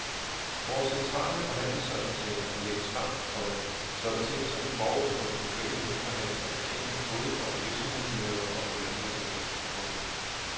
Vores centrale forhandlingsresultater lægges frem, komma så betingelserne forud for de lokale lønforhandlinger er kendte både for virksomhedslederne og for lønmodtagerne. punktum